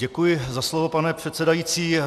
Děkuji za slovo, pane předsedající.